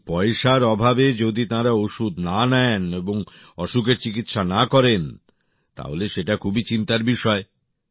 এবং পয়সার অভাবে যদি তাঁরা ওষুধ না নেন এবং অসুখের চিকিৎসা না করেন তাহলে সেটা খুবই চিন্তার বিষয়